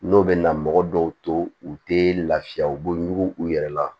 N'o bɛ na mɔgɔ dɔw to u tɛ lafiya u bɛ ɲugu u yɛrɛ la